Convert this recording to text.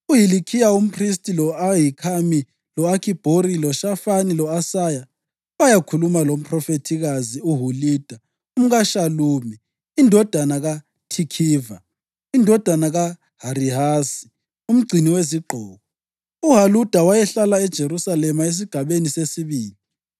UHilikhiya umphristi, lo-Ahikhami, lo-Akhibhori, loShafani lo-Asaya bayakhuluma lomphrofethikazi uHulida umkaShalumi indodana kaThikhiva, indodana kaHarihasi, umgcini wezigqoko. UHulida wayehlala eJerusalema Esigabeni Sesibili.